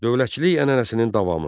Dövlətçilik ənənəsinin davamı.